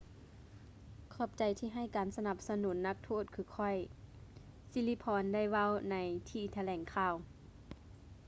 ຂອບໃຈທີ່ໃຫ້ການສະໜັບສະໜູນນັກໂທດຄືຂ້ອຍ ສິລິພອນ ໄດ້ເວົ້າໃນທີ່ຖະແຫຼ່ງຂ່າວ